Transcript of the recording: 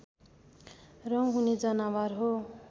रौँ हुने जनावर हो